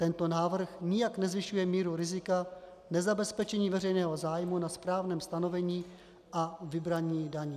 Tento návrh nijak nezvyšuje míru rizika nezabezpečení veřejného zájmu na správném stanovení a vybrání daní.